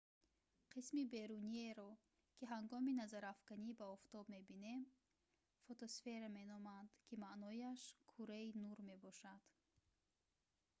қисми беруниеро ки ҳангоми назарафканӣ ба офтоб мебинем фотосфера меноманд ки маънояш кураи нур мебошад